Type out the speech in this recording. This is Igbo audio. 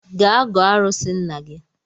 Gaa gọọ arụsị nna gi